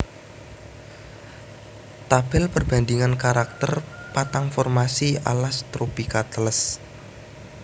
Tabel perbandingan karakter patang formasi alas tropika teles